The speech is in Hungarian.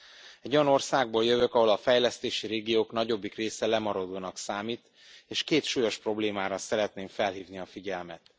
Én egy olyan országból jövök, ahol a fejlesztési régiók nagyobbik része lemaradónak számít és két súlyos problémára szeretném felhívni a figyelmet.